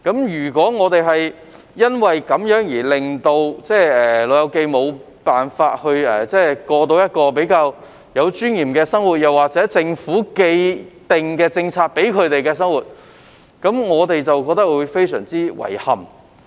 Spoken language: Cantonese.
如果因為這個原因令"老友記"無法過較有尊嚴的生活或享有政府提供的優惠，我們會覺得非常遺憾。